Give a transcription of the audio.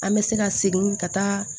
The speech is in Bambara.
An bɛ se ka segin ka taa